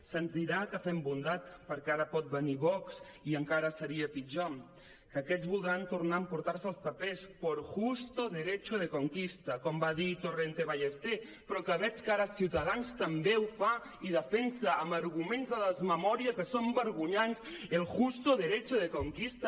se’ns dirà que fem bondat perquè ara pot venir vox i encara seria pitjor que aquests voldran tornar a emportar se els papers por justo derecho de conquistaque ara ciutadans també ho fa i defensa amb arguments de desmemòria que són vergonyants el justo derecho de conquista